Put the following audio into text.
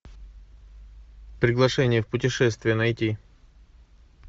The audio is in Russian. приглашение в путешествие найти